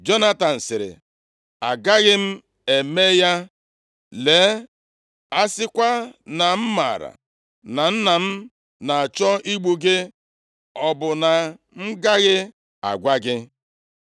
Jonatan sịrị, “Agaghị m eme ya, lee, a sịkwa na m maara na nna m na-achọ igbu gị, ọ bụ na m agaghị agwa gị?”